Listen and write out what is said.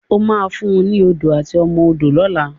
O má fún ní Odó àti ọmọ odó lọla!